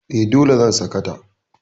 E, dole zan saka ta.